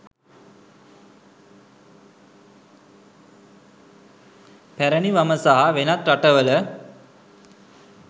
පැරණි වම සහ වෙනත් රටවල